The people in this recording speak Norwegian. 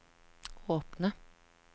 åpne